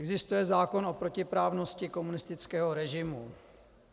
Existuje zákon o protiprávnosti komunistického režimu.